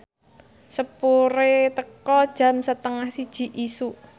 sepure teka jam setengah siji isuk